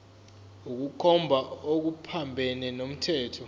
ukukhomba okuphambene nomthetho